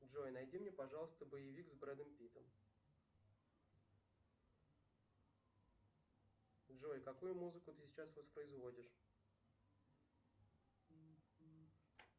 джой найди мне пожалуйста боевик с брэдом питтом джой какую музыку ты сейчас воспроизводишь